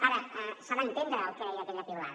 ara s’ha d’entendre el que deia aquell piulada